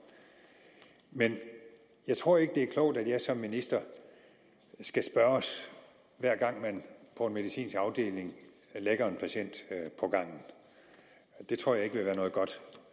men jeg tror ikke det er klogt at jeg som minister skal spørges hver gang man på en medicinsk afdeling lægger en patient på gangen det tror jeg ikke vil være noget godt